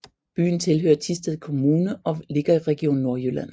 Byen hører til Thisted Kommune og ligger i Region Nordjylland